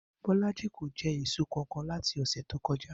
Bó̩lájì kò je̩ èso kankan láti ò̩sè̩ tó ko̩já